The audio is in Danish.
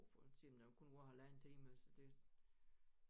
For en ting der kun varer halvanden time så det